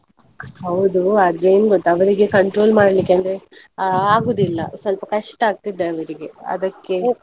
ಹೌದು ಆದ್ರೆ ಏನ್ ಗೊತ್ತಾ ಅವರಿಗೆ control ಮಾಡ್ಲಿಕೆ ಅಂದ್ರೆ ಆ~ ಆಗುದಿಲ್ಲ ಸ್ವಲ್ಪ ಕಷ್ಟ ಆಗ್ತಿದೆ ಅವ್ರಿಗೆ ಅದಕ್ಕೆ.